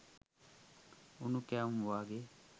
උණු කැවුම් වගේ